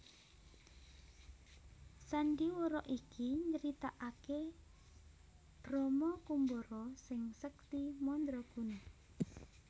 Sandhiwara iki nyritaake Brama Kumbara sing sekti mandraguna